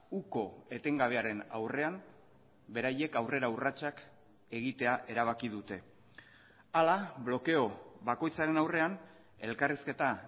uko etengabearen aurrean beraiek aurrera urratsak egitea erabaki dute hala blokeo bakoitzaren aurrean elkarrizketa